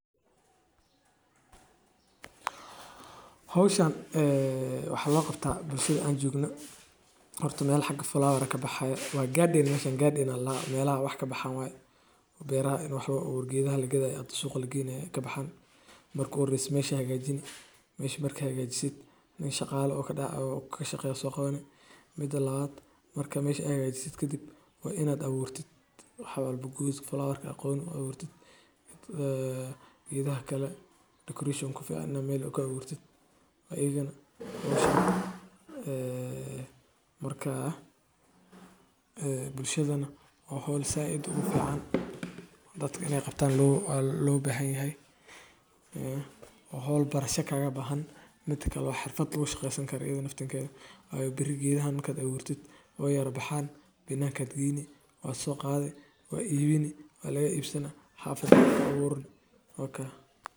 Dhirta noocan ah waxay u baahan tahay biyo dhexdhexaad ah iyo qorrax si wanaagsan u gaaraysa, waana mid si fudud ugu kora carrada Soomaalida. Inta badan, calenta cagaaran waa geed lagu tilmaamo mid nadaafad iyo caafimaad leh, isla markaana qurxin kara beero, guryo, ama hareeraha wadooyinka. Daryeel joogto ah iyo goosasho xilliyeed ayaa lagu xoojiyaa faa’iidooyinka laga helo geedkan.